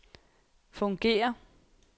fungerer